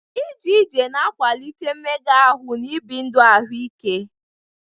Ije ije na-akwalite mmega ahụ na ibi ndụ ahụike.